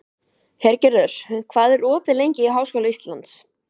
Hergerður, hvað er opið lengi í Háskóla Íslands?